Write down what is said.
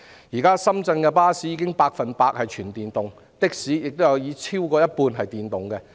現時，深圳的巴士已是百分百電動車，的士也有過半數是電動車。